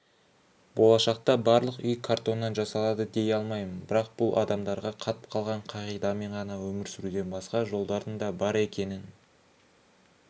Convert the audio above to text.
болашақта барлық үй картоннан жасалады дей алмаймын бірақ бұл адамдарға қатып қалған қағидамен ғана өмір сүруден басқа жолдардың да бар екенін